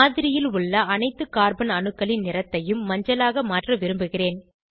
மாதிரியில் உள்ள அனைத்து கார்பன் அணுக்களின் நிறத்தையும் மஞ்சளாக மாற்ற விரும்புகிறேன்